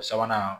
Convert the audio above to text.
O sabanan